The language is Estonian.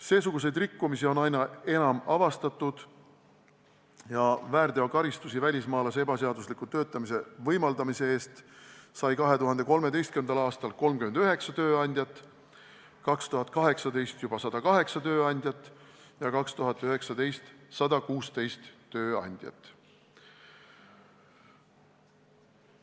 Seesuguseid rikkumisi on avastatud aina enam: väärteokaristuse välismaalase ebaseadusliku töötamise võimaldamise eest sai 2013. aastal 39 tööandjat, 2018. aastal juba 108 tööandjat ja 2019. aastal 116 tööandjat.